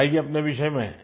اپنے بارے میں بتائیں